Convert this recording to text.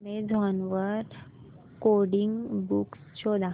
Amazon वर coding books शोधा